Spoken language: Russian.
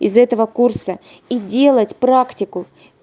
из этого курса и делать практику